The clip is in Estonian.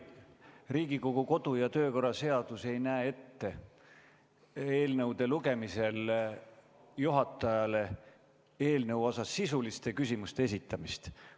Riigikogu kodu- ja töökorra seadus ei näe ette eelnõude lugemisel juhatajale eelnõu kohta sisuliste küsimuste esitamist.